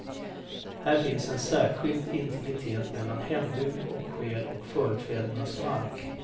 Här finns en särskilt intimitet mellan hembygd och själ och förfädernas mark.